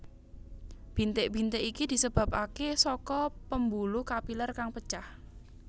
Bintik bintik iki disebabake saka pembuluh kapiler kang pecah